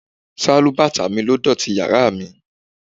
Sálúbàtà mi ló dọ̀tí yàrá mi.